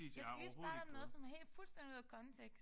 Jeg skal lige spørge dig om noget som er helt fuldstændig ude af kontekst